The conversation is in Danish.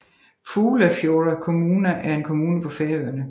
Fuglafjarðar kommuna er en kommune på Færøerne